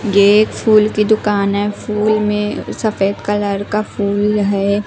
ये एक फूल की दुकान है फूलों में सफेद कलर का फूल है।